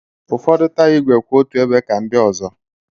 Ụfọdụ taya ígwè kwụ otu ebe ka ndị ọzọ.